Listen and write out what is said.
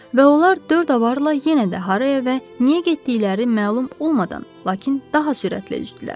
Və onlar dörd avarla yenə də haraya və niyə getdikləri məlum olmadan, lakin daha sürətli üzdülər.